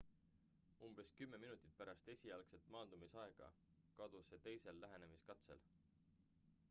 umbes kümme minutit pärast esialgset maandumisaega kadus see teisel lähenemiskatsel